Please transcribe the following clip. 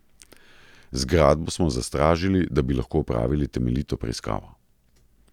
Zgradbo smo zastražili, da bi lahko opravili temeljito preiskavo.